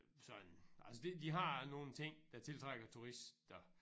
Sådan altså de de har nogle ting der tiltrækker turister